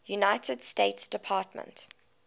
united states department